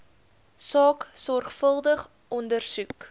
saak sorgvuldig ondersoek